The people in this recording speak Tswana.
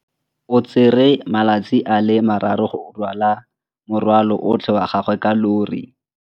O tsere malatsi a le marraro go rwala morwalo otlhe wa gagwe ka llori.